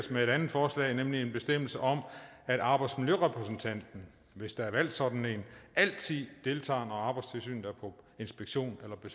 med et andet forslag nemlig en bestemmelse om at arbejdsmiljørepræsentanten hvis der er valgt sådan en altid deltager når arbejdstilsynet er på inspektion eller på